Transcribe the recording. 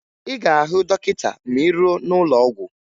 Ị ga-ahụ dọkịta ma ị ruo n'ụlọ ọgwụ